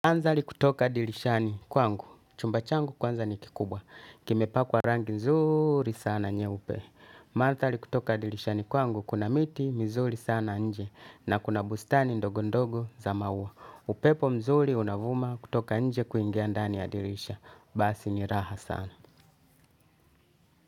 Mandhari kutoka dirishani kwangu. Chumba changu kwanza ni kikubwa kimepakwa rangi nzuri sana nyeupe mandhari kutoka dirishani kwangu kuna miti mizuri sana nje na kuna bustani ndogondogo za maua upepo mzuri unavuma kutoka nje kuingia ndani ya dirisha basi ni raha sana.